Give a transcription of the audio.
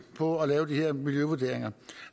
på at lave de her miljøvurderinger